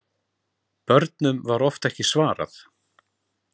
Börnum var oft ekki svarað.